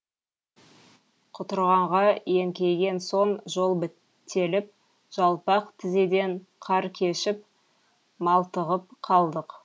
құтырғанға еңкейген соң жол бітеліп жалпақ тізеден қар кешіп малтығып қалдық